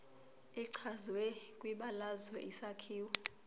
echazwe kwibalazwe isakhiwo